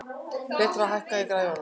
Petrea, hækkaðu í græjunum.